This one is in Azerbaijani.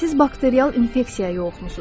Siz bakterial infeksiyaya yoluxmusunuz.